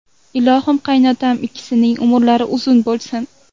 Ilohim, qaynotam ikkisining umrlari uzun bo‘lsin.